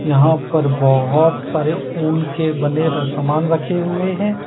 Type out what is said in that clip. यहां पर बहुत सारे ऊन के बने र सामान रखे हुए हैं।